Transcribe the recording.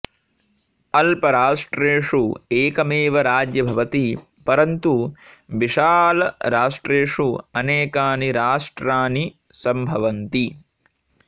अल्पराष्ट्रेषु एकमेव राज्य भवति परन्तु विशालरष्ट्रेषु अनेकानि राष्ट्रानि संभवन्ति